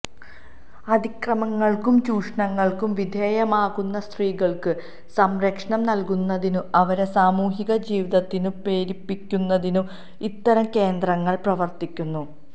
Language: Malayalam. അതിക്രമങ്ങള്ക്കും ചൂഷണങ്ങള്ക്കും വിധേയമാകുന്ന സ്ത്രീകള്ക്ക് സംരക്ഷണം നല്കുന്നതിനും അവരെ സാമൂഹിക ജീവിതത്തിനു പേരിപ്പിക്കുന്നതിനും ഇത്തരം കേന്ദ്രങ്ങള് പ്രവര്ത്തിക്കുന്നു